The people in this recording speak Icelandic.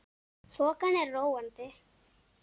Þokan er róandi